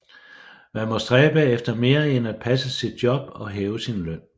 Man må stræbe efter mere end at passe sit job og hæve sin løn